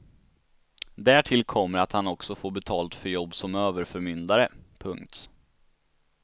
Därtill kommer att han också får betalt för jobb som överförmyndare. punkt